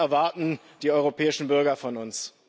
Das erwarten die europäischen Bürger von uns.